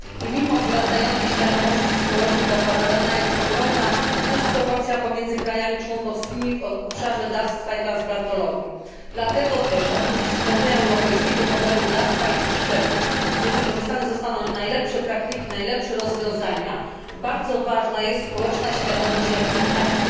Mimo wzrastającej świadomości społecznej zauważalna jest ogromna dysproporcja pomiędzy krajami członkowskimi w obszarze dawstwa i transplantologii. Dlatego też oprócz stworzenia europejskiego modelu dawstwa i przeszczepu, gdzie wykorzystane zostaną najlepsze praktyki, najlepsze rozwiązania, bardzo ważna jest społeczna świadomość i akceptacja.